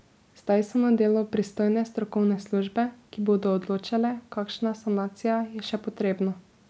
Zdaj so na delu pristojne strokovne službe, ki bodo odločale, kakšna sanacija je še potrebna.